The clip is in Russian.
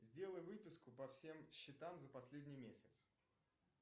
сделай выписку по всем счетам за последний месяц